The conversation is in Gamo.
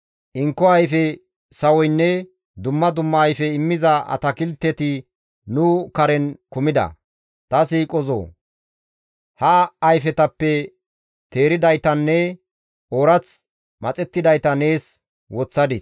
Inko ayfe sawoynne dumma dumma ayfe immiza atakilteti nu karen kumida; ta siiqozoo! Ha ayfetappe teeridaytanne oorath maxettidayta nees woththadis.